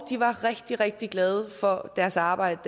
var rigtig rigtig glade for deres arbejde